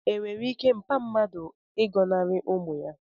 enwere ike mpa mmadu ịgọnarị ụmụ ya?